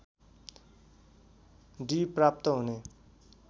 D प्राप्त हुने